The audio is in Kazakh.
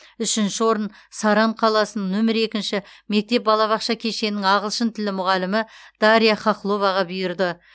үшінші орын саран қаласының нөмір екінші мектеп балабақша кешенінің ағылшын тілі мұғалімі дарья хохловаға бұйырды